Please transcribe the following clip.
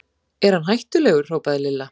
Er hann hættulegur? hrópaði Lilla.